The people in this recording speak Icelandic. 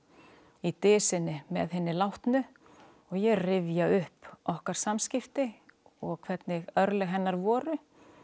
í með hinni látnu og ég rifja upp okkar samskipti og hvernig örlög hennar voru